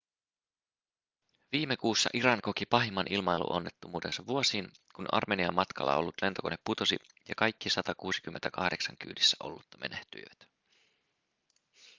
viime kuussa iran koki pahimman ilmailuonnettomuutensa vuosiin kun armeniaan matkalla ollut lentokone putosi ja kaikki 168 kyydissä ollutta menehtyivät